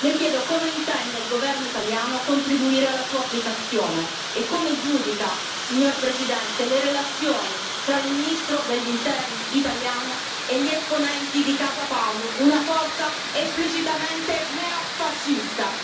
Le chiedo come intende il Governo italiano contribuire alla sua applicazione e come giudica, signor Presidente, le relazioni tra il ministro degli Interni italiano e gli esponenti di Casa Pound, una forza esplicitamente neofascista.